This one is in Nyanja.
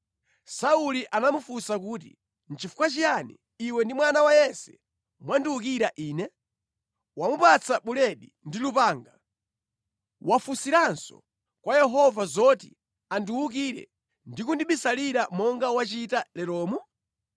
Sauli anamufunsa kuti, “Nʼchifukwa chiyani iwe ndi mwana wa Yese mwandiwukira ine? Wamupatsa buledi ndi lupanga. Wafunsiranso kwa Yehova zoti andiwukire ndi kundibisalira monga wachita leromu?”